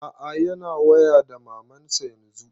A'a yana waya da maman sa yanzun